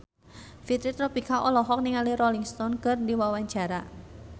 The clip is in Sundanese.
Fitri Tropika olohok ningali Rolling Stone keur diwawancara